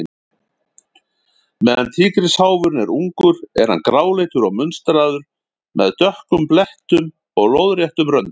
Meðan tígrisháfurinn er ungur er hann gráleitur og munstraður, með dökkum blettum og lóðréttum röndum.